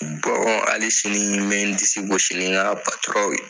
hali sini n bɛ dise gosi ni ka ye.